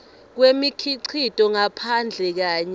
kwemikhicito ngaphandle kanye